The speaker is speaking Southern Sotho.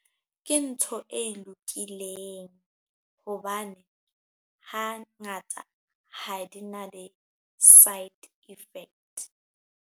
Ke ntho e lokileng hobane ha ngata ha di na di-side effect.